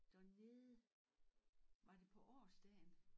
Dernede var det på årsdagen